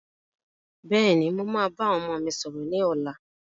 Bẹ́ẹ̀ni, mo máa bá àwọn ọmọ mi sọ̀rọ̀ ni ọ̀la.